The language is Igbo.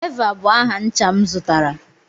Eva bụ aha ncha m zụtara.